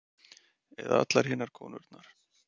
Eða allar hinar konurnar.